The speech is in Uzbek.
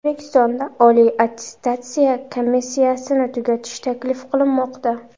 O‘zbekistonda Oliy attestatsiya komissiyasini tugatish taklif qilinmoqda.